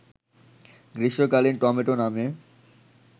গ্রীষ্মকালীন টমেটো নামে